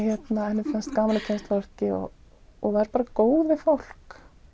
henni fannst gaman að kynnast fólki og og var bara góð við fólk